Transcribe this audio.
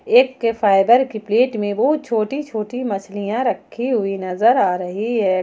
एक के फाइबर के प्लेट में वह छोटी छोटी मछलियां रखी हुई नजर आ रही है।